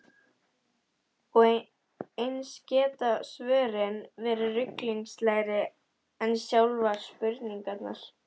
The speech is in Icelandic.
Og eins geta svörin verið ruglingslegri en sjálfar spurningarnar.